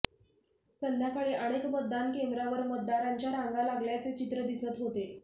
संध्याकाळी अनेक मतदान केंद्रावर मतदारांच्या रांगा लागल्याचे चित्र दिसत होते